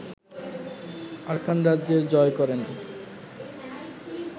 Arakan রাজ্য জয় করে